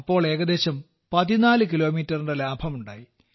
അപ്പോൾ ഏകദേശം 14 കിലോമീറ്ററിന്റെ ലാഭമുണ്ടായി